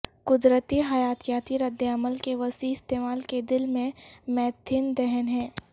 قدرتی حیاتیاتی ردعمل کے وسیع استعمال کے دل میں میتھین دہن ہے